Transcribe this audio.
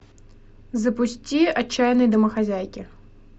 запусти отчаянные домохозяйки